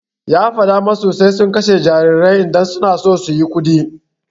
Ya faɗa musu sai sun kashe jarirai idan suna so suyi kuɗi.